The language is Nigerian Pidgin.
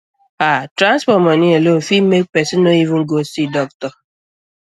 ah transport money alone fit make person no even go see doctor